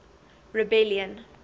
rebellion